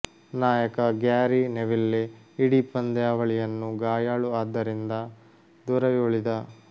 ನಾಯಕ Gary Neville ಇಡೀ ಪಂದ್ಯಾವಳಿಗಳನ್ನು ಗಾಯಾಳು ಆದ್ದರಿಂದ ದೂರವೇ ಉಳಿದ